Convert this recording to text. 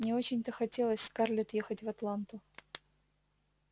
не очень-то хотелось скарлетт ехать в атланту